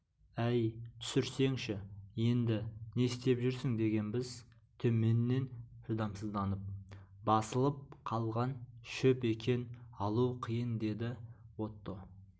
әй түсірсеңші енді не істеп жүрсің дегенбіз төменнен шыдамсызданып басылып қалған шөп екен алу қиын деді отто